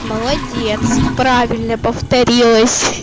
молодец правильно повторилось